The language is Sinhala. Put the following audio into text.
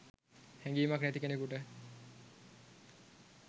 හැඟීමක් නැති කෙනෙකුට